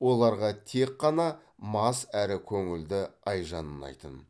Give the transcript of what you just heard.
оларға тек қана мас әрі көңілді айжан ұнайтын